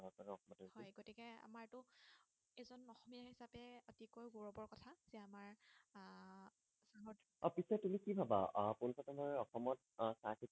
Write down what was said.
অ পিছে তুমি কি ভাবা আহ পোন প্ৰথমে অসমত আহ চাহ খেতি